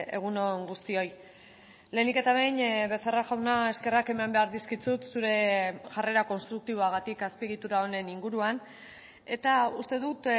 egun on guztioi lehenik eta behin becerra jauna eskerrak eman behar dizkizut zure jarrera konstruktiboagatik azpiegitura honen inguruan eta uste dut